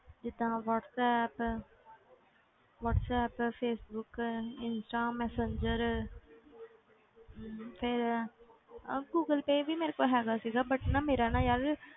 ਜਿੱਦਾਂ WhatsApp WhatsApp Facebook Insta Messenger ਹਮ ਫਿਰ ਆਹ ਗੂਗਲ ਪੇਅ ਵੀ ਮੇਰੇ ਕੋਲ ਹੈਗਾ ਸੀਗਾ but ਨਾ ਮੇਰਾ ਨਾ ਯਾਰ,